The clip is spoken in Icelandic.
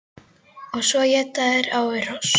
Og svo éta þeir á við hross!